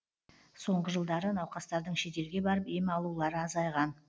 соңғы жылдары науқастардың шетелге барып ем алулары азайған